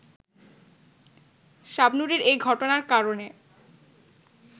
শাবনূরের এ ঘটনার কারণে